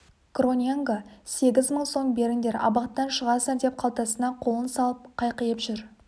гроненго сегіз мың сом беріңдер абақтыдан шығасыңдар деп қалтасына қолын салып қайқиып жүр